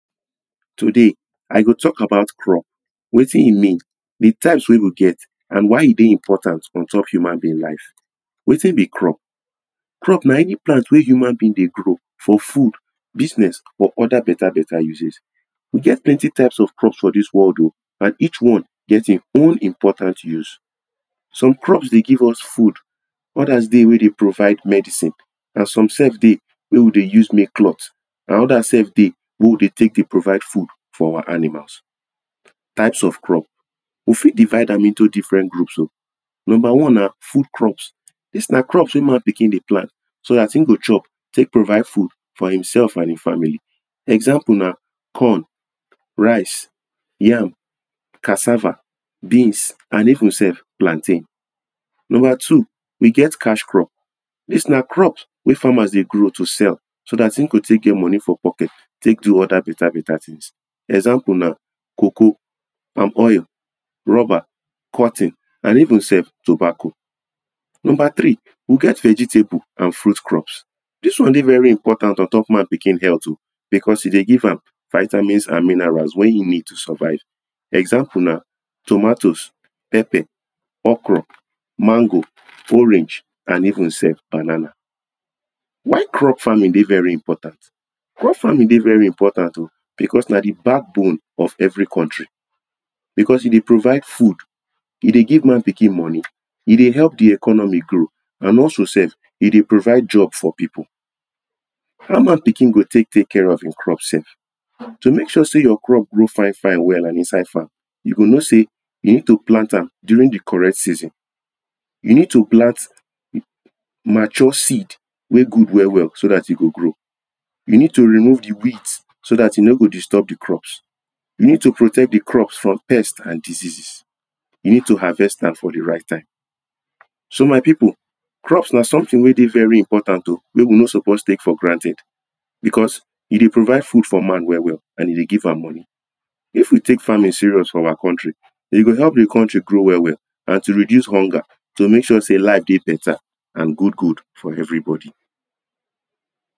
today i go talk about crop wetin e mean de types weh we get and why e deh important untop human being life wetin be crop crop nah any plant weh human being deh grow for food business or other better better usage e get plenty types of crops for this world o and each one get in own important use some crops deh give us food others deh weh deh provid medicine and some sef deh weh we deh use make clothe and others sef deh weh we deh take dey provide food for our animals types of crop we fit divide am into different groups o number one nah food crops this nah crops weh man pikin deh plant so as im chop take provide food for himself and in family example nah corn rice yam cassava beans and even sef plantain number two we get cash crop this nah crop weh farmers deh grow to sell so that in go take get money for pocket take do other better better things for example nah coco palm oil rubber corton and even sef tobacco number three we get vegetable and fruit crops this one deh very important ontop man pikin health o because e deh give am vitamins and minerals weh e need to survive example nah tomatoes pepper okoro mango orange and even sef banana why crop farming deh very important crop farming deh very important o because nah the back bone of every country because e deh provide food e deh give man pikin money e deh help the economy grow and also sef e deh provide jobs for people how man pikin go take take care of in crop sef to make sure say your crop grow fine fine and well inside farm you go know say you need to plant am during the correct season you need to plant mature seed weh good well well so that e go grow you need to remove the weeds so that e no go disturb the crops you need to protec the crops from pets and diseases you need to harvest am for the right time so my people crops nah something weh very important o weh we no suppose take for granted because e deh provide food for man well well and e deh give am money if we take farming serious for our country e go help the country grow well well and it will reduce hunger to make sure say life deh better and good good for everybody